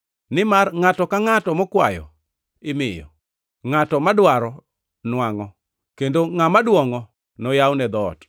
Nimar ngʼato ka ngʼato mokwayo imiyo; ngʼato madwaro nwangʼo; kendo ngʼama dwongʼo, noyawne dhoot.